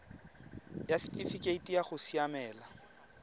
ya setifikeite sa go siamela